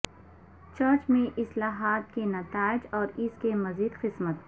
church میں اصلاحات کے نتائج اور اس کی مزید قسمت